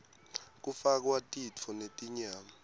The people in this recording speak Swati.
kufakwa titfo netinyama